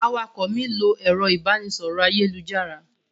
Awakọ̀ mi n lo ẹrọ ibanisọrọ ayelujara.